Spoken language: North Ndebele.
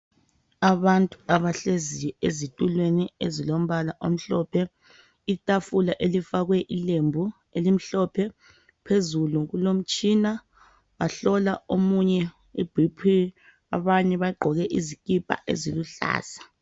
abantu abahleziyo ezitulweni ezilombala omhlophe itafula elifakwe ilembu elimhlophe phezulu kulomtshina bahlola omune i BP abanye bagqoke izikipa eziluhlaza